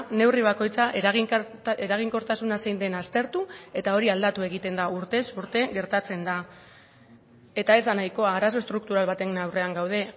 neurri bakoitza eraginkortasuna zein den aztertu eta hori aldatu egiten da urtez urte gertatzen da eta ez da nahikoa arazo estruktural baten aurrean gaude